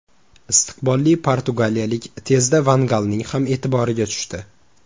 Istiqbolli portugaliyalik tezda van Galning ham e’tiboriga tushdi.